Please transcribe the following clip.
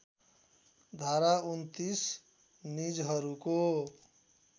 धारा २९ निजहरूको